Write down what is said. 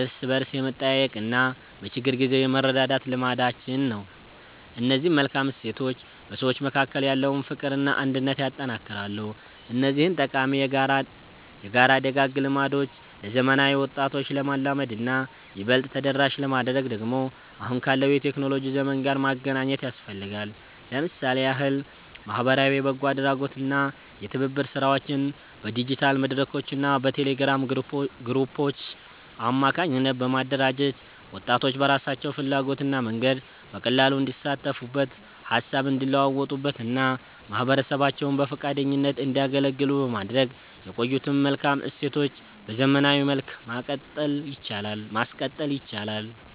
እርስ በርስ የመጠያየቅና በችግር ጊዜ የመረዳዳት ልማዳችን ነው። እነዚህ መልካም እሴቶች በሰዎች መካከል ያለውን ፍቅርና አንድነት ያጠነክራሉ። እነዚህን ጠቃሚ የጋራ ደጋግ ልማዶች ለዘመናዊ ወጣቶች ለማልመድና ይበልጥ ተደራሽ ለማድረግ ደግሞ አሁን ካለው የቴክኖሎጂ ዘመን ጋር ማገናኘት ያስፈልጋል። ለምሳሌ ያህል ማኅበራዊ የበጎ አድራጎትና የትብብር ሥራዎችን በዲጂታል መድረኮችና በቴሌግራም ግሩፖች አማካኝነት በማደራጀት፣ ወጣቶች በራሳቸው ፍላጎትና መንገድ በቀላሉ እንዲሳተፉበት፣ ሃሳብ እንዲለዋወጡበትና ማኅበረሰባቸውን በፈቃደኝነት እንዲያገለግሉ በማድረግ የቆዩትን መልካም እሴቶች በዘመናዊ መልክ ማቀጠል ይቻላል።